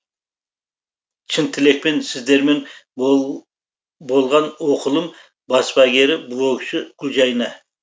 шын тілекпен сіздермен болған оқылым баспагері блогшы гүлжайна